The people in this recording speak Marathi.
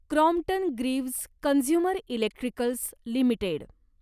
Crompton Greaves consumer electricals limited